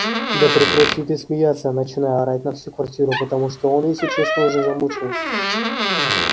да прекрати ты смеяться начинаю орать на всю квартиру потому что он если честно уже замучил